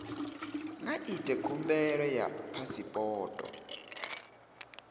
nga ita khumbelo ya phasipoto